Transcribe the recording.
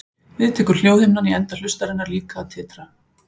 Við það tekur hljóðhimnan í enda hlustarinnar líka að titra.